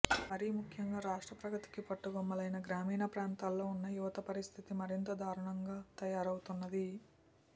మరీ ము ఖ్యంగా రాష్ట్ర ప్రగతికి పట్టుగొమ్మలైన గ్రామీణ ప్రాంతాల్లో ఉన్న యువత పరిస్థితి మరింత దారుణంగా తయారవ్ఞతు న్నది